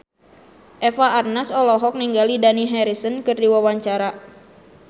Eva Arnaz olohok ningali Dani Harrison keur diwawancara